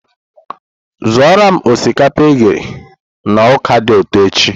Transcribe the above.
Zụoro m osikapa eghe na ọka dị ụtọ echi!